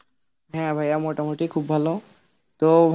হ্যাঁ ভাইয়া মোটা মুটি খুব ভালো, তো